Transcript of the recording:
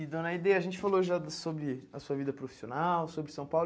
E, dona Aide, a gente falou já sobre a sua vida profissional, sobre São Paulo.